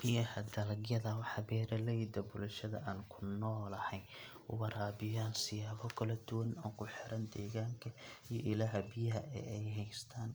Biyaha dalagyada waxaa beeraleyda bulshada aan ku noolahay u waraabiyaan siyaabo kala duwan oo ku xiran deegaanka iyo ilaha biyaha ee ay haystaan.